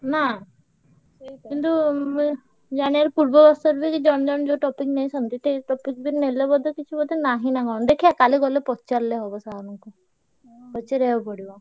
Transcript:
ନା? କିନ୍ତୁ ମୁଁ ଜାଣିଆକୁ ପୂର୍ବ ବର୍ଷ ବି ଜଣେ ଜଣେ ଯୋଉ topic ନେଇଥାନ୍ତି ସେ topic ବି ନେଲେ ବୋଧେ କିଛି ବୋଧେ ନାହିଁ ନା କଣ ଦେଖିଆ କାଲି ଗଲେ ପଚାରିଲେ ହବ sir ଙ୍କୁ ପଚାରିଆ କୁ ପଡିବ।